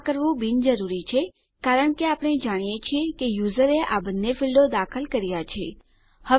આ કરવું બિનજરૂરી છે કારણ કે આપણે જાણીએ છીએ કે યુઝરે આ બંને ફીલ્ડોને દાખલ કરી દીધા છે